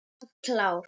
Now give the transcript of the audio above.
Alltaf klár.